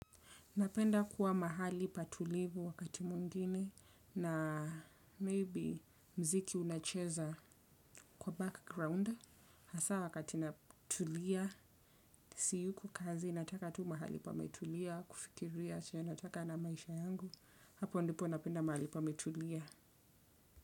Napenda kuwa mahali patulivu wakati mwingine na maybe mziki unacheza kwa background. Hasaa wakati natulia, siyuko kazi, nataka tu mahali pametulia, kufikiria chenye nataka na maisha yangu. Hapo ndipo napenda mahali pametulia.